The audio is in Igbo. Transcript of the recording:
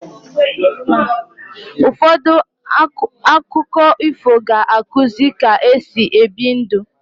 Ụfọdụ akụkọ ifo ga-akuzi ka-esi ebi ndu